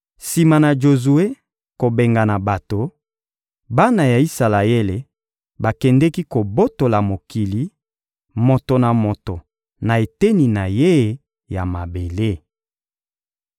Sima na Jozue kobengana bato, bana ya Isalaele bakendeki kobotola mokili, moto na moto na eteni na ye ya mabele.